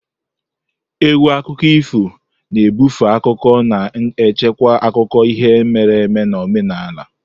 Égwù akụkọ ifo na ebufe akụkọ na-echekwa akụkọ ihe mere eme na omenala.